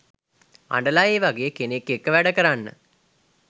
අඬලා ඒවගේ කෙනෙක් එක්ක වැඩ කරන්න